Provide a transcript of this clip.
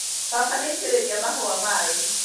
Baba nĩaitĩrĩria mahũa maĩ